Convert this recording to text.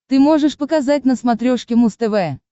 ты можешь показать на смотрешке муз тв